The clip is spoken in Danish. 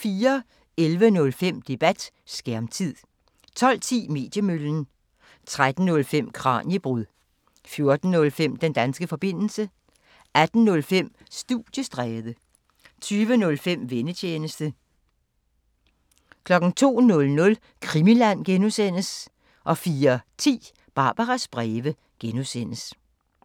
11:05: Debat: Skærmtid 12:10: Mediemøllen 13:05: Kraniebrud 14:05: Den danske forbindelse 18:05: Studiestræde 20:05: Vennetjenesten 02:00: Krimiland (G) 04:10: Barbaras breve (G)